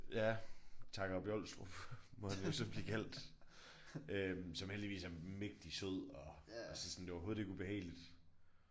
Ja Takob Jolstrup må han jo så blive kaldt øh som heldigvis er mægtig sød og altså sådan det var overhovedet ikke ubehageligt